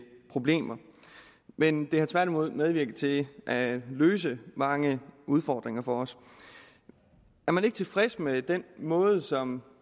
problemer men har tværtimod medvirket til at løse mange udfordringer for os er man ikke tilfreds med den måde som